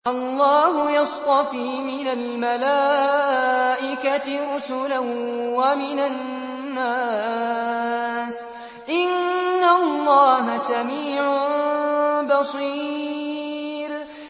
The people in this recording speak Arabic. اللَّهُ يَصْطَفِي مِنَ الْمَلَائِكَةِ رُسُلًا وَمِنَ النَّاسِ ۚ إِنَّ اللَّهَ سَمِيعٌ بَصِيرٌ